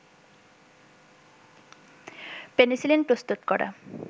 penicillin প্রস্তুত করা